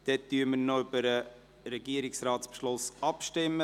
Jetzt stimmen wir über den Regierungsratsbeschluss ab.